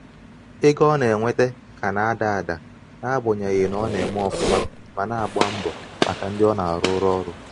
ego ọ na-enweta ka na-ada ada n'agbanyeghị na ọ na- eme ofuma mana agba mbo maka ndi o na aruru oru.